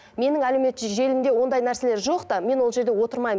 менің әлеуметтік желімде ондай нәрселер жоқ та мен ол жерде отырмаймын